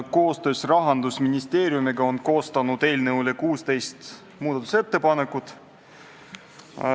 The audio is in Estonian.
Koostöös Rahandusministeeriumiga on eelnõu kohta koostatud 16 muudatusettepanekut.